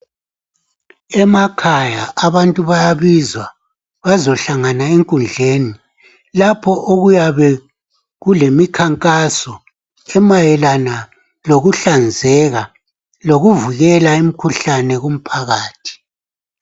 Emakhaya abantu bayabizwa bazohlangana enkundleni lapho okuyabe kulemikhankaso emayelana lokuhlanzeka lokuvikela imikhuhlane kumphakathi.